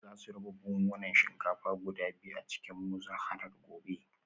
Za su raba buhunan shinkafa guda biyu a cikin muzaharar gobe